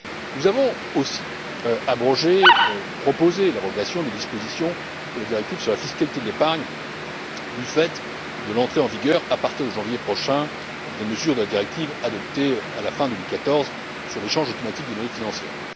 Nous avons aussi proposé l'abrogation des dispositions de la directive sur la fiscalité de l'épargne, du fait de l'entrée en vigueur, à partir de janvier prochain, des mesures de la directive adoptée fin 2014 sur l'échange automatique des données financières.